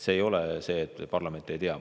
See ei ole nii, et parlament ei tea.